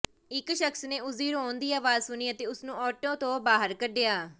ਇੱਕ ਸ਼ਖਸ ਨੇ ਉਸਦੀ ਰੋਣ ਦੀ ਆਵਾਜ ਸੁਣੀ ਅਤੇ ਉਸਨੂੰ ਆਟੋ ਤੋਂ ਬਾਹਰ ਕੱਢਿਆ